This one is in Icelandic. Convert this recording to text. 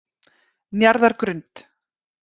Njarðargrund